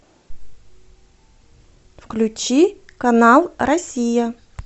включи канал россия